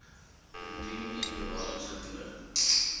indien u bewaringsgebiede